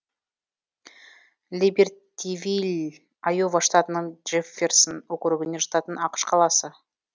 либертивилл айова штатының джефферсон округіне жататын ақш қаласы